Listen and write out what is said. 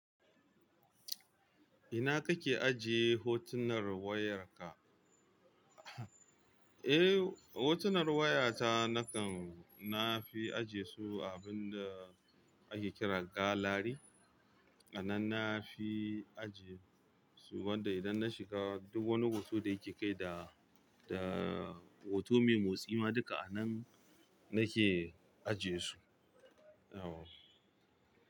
Ina kake ajiye hotunar wayarka? Eh, hotunar wayata nakan na fi ajiye su a abin da ake kira galary. A nan na fi ajiye su, wanda idan na shiga duk wani hoto da yake kai da, da hoto mai motsi ma duka a nan nake ajiye su. Yawwa.